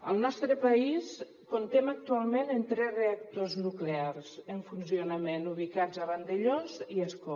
al nostre país comptem actualment amb tres reactors nuclears en funcionament ubicats a vandellòs i a ascó